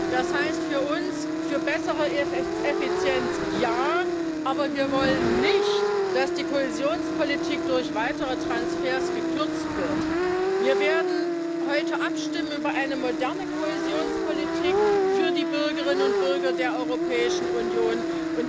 Das heißt für uns für bessere Effizienz ja, aber wir wollen nicht, dass die Kohäsionspolitik durch weitere Transfers gekürzt wird. Wir werden heute über eine moderne Kohäsionspolitik für die Bürgerinnen und Bürger der Europäischen Union abstimmen.